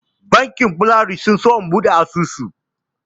Bankin Polaris sun so na buɗe asusu.